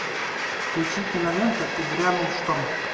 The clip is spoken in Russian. включи киноленту и грянул шторм